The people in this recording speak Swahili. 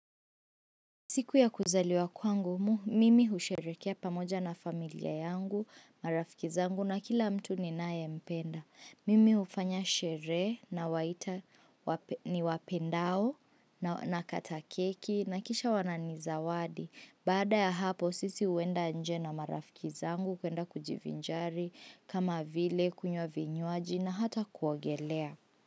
Siku ya kuzaliwa kwangu mu, mimi husherekea pamoja na familia yangu, marafiki zangu na kila mtu ninayempenda. Mimi hufanya sheree nawaita niwapendao nakata keki na kisha wananizawadi. Baada ya hapo, sisi huenda nje na marafiki zangu, kuenda kujivinjari, kama vile, kunywa vinywaji na hata kuogelea.